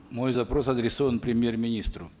мой запрос адресован премьер министру